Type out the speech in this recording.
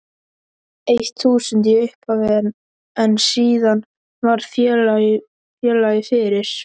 eitt þúsund í upphafi en síðan varð félagið fyrir